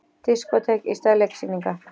Diskótek í stað leiksýninga